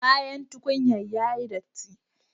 Bayan tukunyar yayi datti